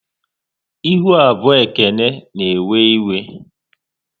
Ihu abụọ Ekene na ewe iwe